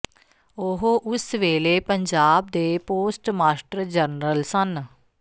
ਉਹ ਉਸ ਵੇਲੇ ਪੰਜਾਬ ਦੇ ਪੋਸਟ ਮਾਸਟਰ ਜਨਰਲ ਸਨ